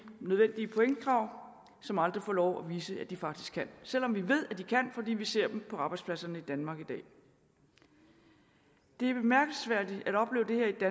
nødvendige pointkrav som aldrig får lov at vise at de faktisk kan selv om vi ved at de kan fordi vi ser dem på arbejdspladserne i danmark i dag det er bemærkelsesværdigt at opleve det